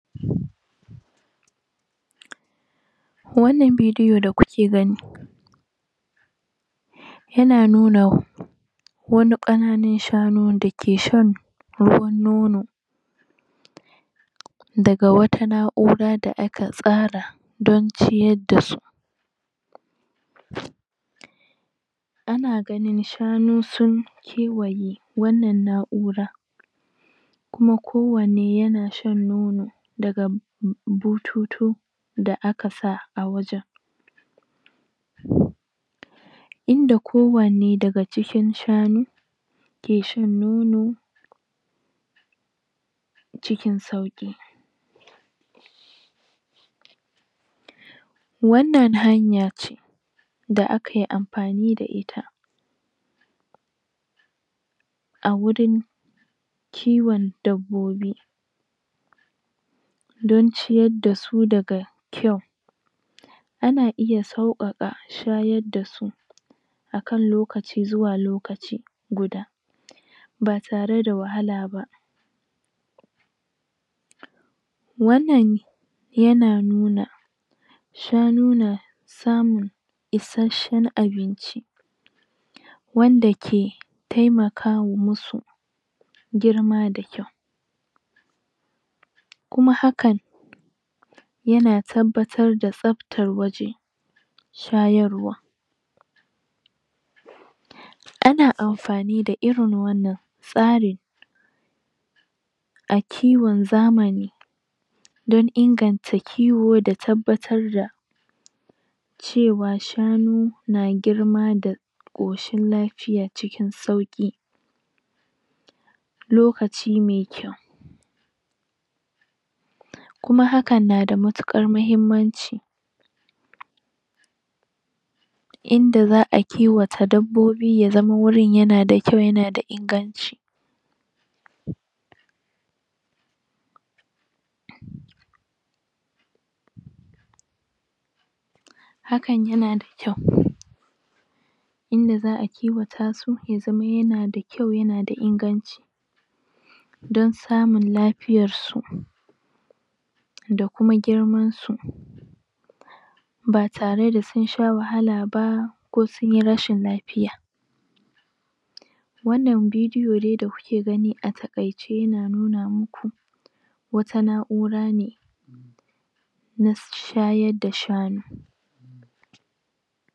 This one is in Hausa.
? wannan bidiyo da kuke gani yana nuna wani ƙananun shanu da ke shan ruwan nono daga wata na'ura da aka tsara don ciyar dasu ana ganin shanu sun kewaye wannan na'ura kuma kowanne yana shan nono daga bututu da aka sa a wajen? inda kowanne daga cikin shanu ke shan nono cikin sauƙi wannan hanya ce da aka yi amfani da ita a wurin kiwon dabbobi don ciyar da su daga kyau a na iya sauƙaƙa shayar da su a kan lokaci zuwa lokaci guda ba tare da wahala ba wannan yana nuna shanu na samun isasshen abinci wanda ke taimakawa wasu girma da kyau kuma hakan yana tabbatar da tsaftar waje shayarwa ana amfani da irin wannan tsarin a kiwon zamani don inganta kiwo da tabbatar da cewa shanu na girma da ƙoshin lafiya cikin sauƙi lokaci mai kyau kuma hakan na da matuƙar muhimmanci inda za a kiwata dabbobi ya zama wurin yana da kyau yana da inganci hakan yana da kyau inda za a kiwata su ya zama yana da kyau yana da inganci don samun lafiyar su da kuma girman su ba tare da sun sha wahala ba ko sun yi rashin lafiya wannan bidiyo dai da kuke gani a taƙaice yana nuna muku wata na'ura ne na shayar da shanu